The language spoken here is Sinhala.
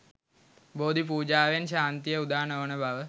බෝධි පූජාවෙන් ශාන්තිය උදා නොවන බව